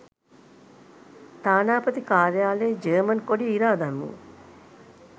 තානාපති කාර්යාලයේ ජර්මන් කොඩිය ඉරා දැමූ